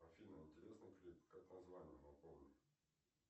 афина интересный клип как название напомни